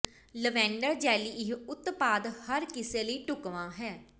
lavender jelly ਇਹ ਉਤਪਾਦ ਹਰ ਕਿਸੇ ਲਈ ਢੁਕਵਾਂ ਹੈ